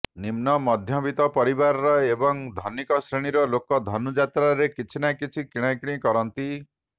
ନିମ୍ନ ମଧ୍ୟବିତ୍ତ ପରିବାର ଏବଂ ଧନୀକ ଶ୍ରେଣୀର ଲୋକ ଧନୁଯାତ୍ରାରେ କିଛି ନା କିଛି କିଣାକିଣି କରନ୍ତି